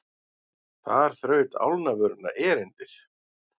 Þar þraut álnavöruna erindið.